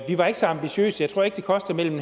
var ikke så ambitiøse jeg tror ikke det koster mellem